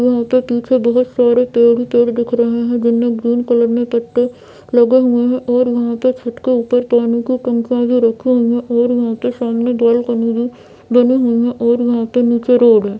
यहाँ पे पीछे बहोत सारे पेड़ ही पेड़ दिख रहे है जिनमे ग्रीन कलर में पत्ते लगे हुए है और यहाँ के छत्त के ऊपर पानी की टंकियाँ भी रखी हुई है और यहाँ पे सामने बालकनी भी बनी हुई है और यहाँ पे नीचे रोड है।